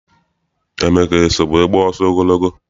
Emeka eso wee gbaa ọsọ ogologo?